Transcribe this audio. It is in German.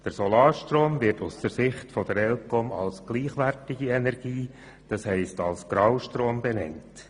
Der Solarstrom wird aus Sicht der ElCom als Graustrom bezeichnet.